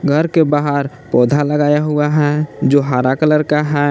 घर के बाहर पौधा लगाया हुआ है जो हरा कलर का है।